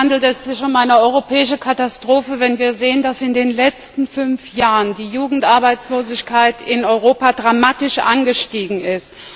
Tatsächlich handelt es sich um eine europäische Katastrophe, wenn wir sehen, dass in den letzten fünf Jahren die Jugendarbeitslosigkeit in Europa dramatisch angestiegen ist.